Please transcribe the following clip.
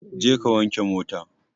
Je ka wanke mota!